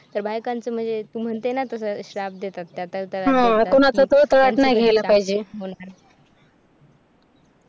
तर बायकांचं म्हणजे तू म्हणते नटे शाप देतात तश्या